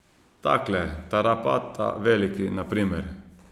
Takle Tarapata Veliki, na primer.